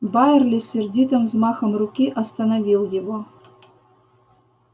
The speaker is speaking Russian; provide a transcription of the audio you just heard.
байерли сердитым взмахом руки остановил его